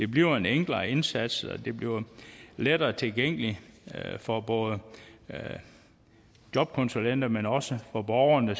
bliver en enklere indsats og det bliver lettere tilgængeligt for både jobkonsulenterne men også for borgerne